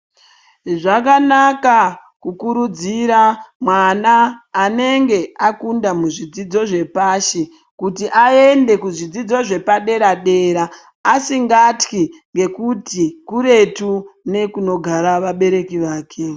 Zvakanaka kukurudzira mwana anenge akunda muzvidzidzo zvepashi kuti aende kuzvidzidzo zvepadera dera asingatxi ngekuti kuretu nekuno gara vabereki vake.